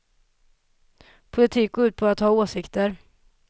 Politik går ut på att ha åsikter.